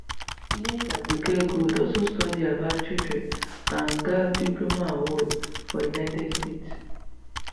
late aduke gold also study about children and gbab diploma award for united kingdom